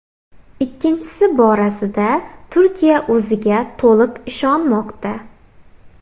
Ikkinchisi borasida Turkiya o‘ziga to‘liq ishonmoqda.